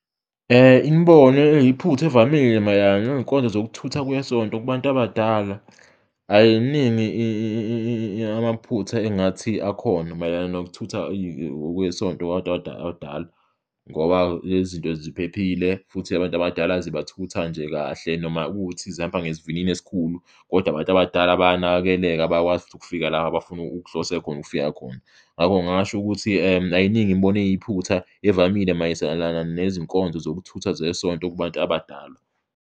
Imibono eyiphutha evamile mayelana ney'nkonzo zokuthutha kwesonto kubantu abadala ayiningi yamaphutha engingathi akhona mayelana nokuthutha kwesonto kwabantu abadala ngoba lezi zinto ziphephile futhi abantu abadala zibathutha nje kahle. Noma kuwukuthi zihamba ngesivinini esikhulu kodwa abantu abadala bayanakekeleka, bayakwazi futhi ukufika la abafuna ukuhlose khona ukufika khona, ngakho ngingasho ukuthi ayiningi imibono eyiphutha evamile mayiselana nezinkonzo zokuthutha zesonto kubantu abadala.